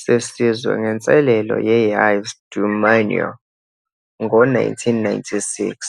sesizwe ngenselelo ye-Yves du Manoir ngo-1996.